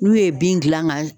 N'u ye bin gilan ga